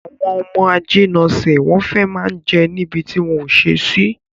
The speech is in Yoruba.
Àwọn ọmọ ajínasè, wọ́n fẹ́ má ń jẹ níbi tí wọ́n ò ṣe sí